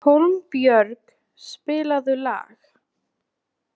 Hólmbjörg, spilaðu lag.